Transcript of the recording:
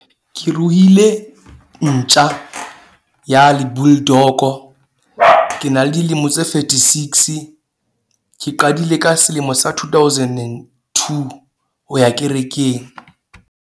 Ke ruile ntja ya le bull dog-o. Ke na le dilemo tse thirty six ke qadile ka selemo sa two thousand and two ho ya kerekeng.